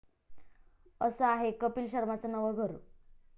असं आहे कपील शर्माचं नवं 'घर'